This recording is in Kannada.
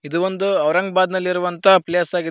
ಇದು ಒಂದು ಔರಂಗಬಾದ್ ನಲ್ಲಿರುವಂತ ಪ್ಲೇಸ್ ಆ--